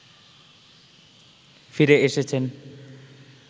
ফিরে এসেছেন